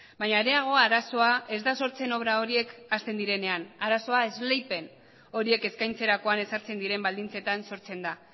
baina areago arazoa ez da sortzen obra horiek hasten direnean arazoa esleipen horiek eskaintzerakoan ezartzen diren baldintzetan sortzen da